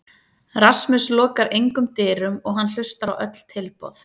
Rasmus lokar engum dyrum og hann hlustar á öll tilboð.